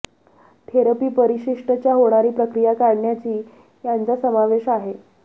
therapy परिशिष्ट च्या होणारी प्रक्रीया काढण्याची यांचा समावेश आहे